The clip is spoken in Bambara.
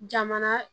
Jamana